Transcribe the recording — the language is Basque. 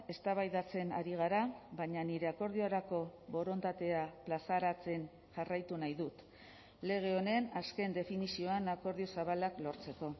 eztabaidatzen ari gara baina nire akordiorako borondatea plazaratzen jarraitu nahi dut lege honen azken definizioan akordio zabalak lortzeko